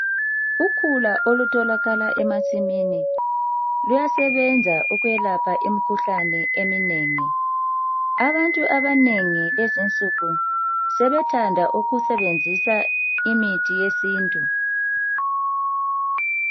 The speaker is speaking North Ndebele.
Ukhula olutholakala emasimini luyasebenza ukwelapha imikhuhlane eminengi. Abantu abanengi kulezi insuku sebethanda ukusebenzisa imithi yesintu.